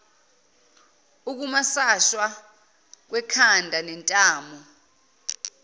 ukumasashwa kwekhanda nentamo